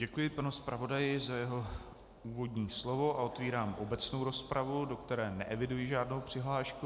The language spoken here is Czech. Děkuji panu zpravodaji za jeho úvodní slovo a otevírám obecnou rozpravu, do které neeviduji žádnou přihlášku.